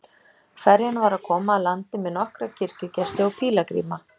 Ferjan var að koma að landi með nokkra kirkjugesti og pílagríma.